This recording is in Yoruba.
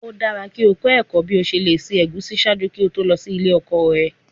O dara ki o kọ ẹkọ bi o ṣe le ṣe egusi ṣaaju ki o to lọ si ile ọkọ rẹ